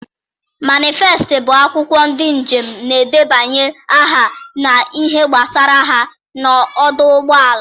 Manịfest bụ akwụkwọ ndị njem na-edebanye aha na ihe gbasara ha na ọdụ ụgbọala.